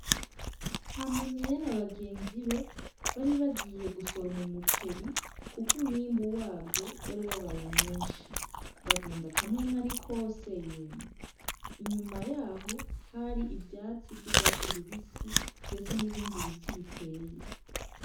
Hanuniya na bagenzi be baribagiye gusoroma umuceri, kuko umwimbu wavyo wari wabaye mwinshi bagenda akamwemwe ari kose yemwe inyuma yaho hari ivyatsi vy'urwatsi rubisi, ndetse n'ibindi biti biteye.